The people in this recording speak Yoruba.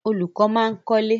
Olùkọ́ máa ń kọ́lé.